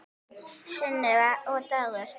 Sunneva og Dagur.